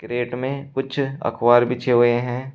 Crate में कुछ अखबार बीछे हुए हैं।